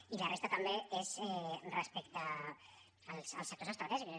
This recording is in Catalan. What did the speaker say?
i la resta també és respecte als sectors estratègics